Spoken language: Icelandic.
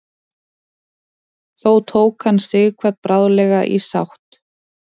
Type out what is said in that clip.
þó tók hann sighvat bráðlega í sátt